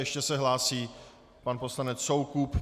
Ještě se hlásí pan poslanec Soukup.